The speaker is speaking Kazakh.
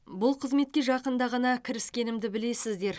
бұл қызметке жақында ғана кіріскенімді білесіздер